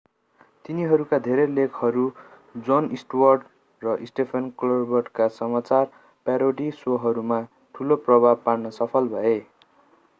तिनीहरूका धेरै लेखकहरू jon stewart र stephen colbert का समाचार प्यारोडी शोहरूमा ठूलो प्रभाव पार्न सफल भए